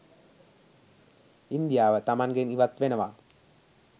ඉන්දියාව තමන්ගෙන් ඉවත් වෙනවා